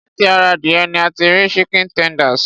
Láti ara adìyẹ ní a ti rí chicken tenders.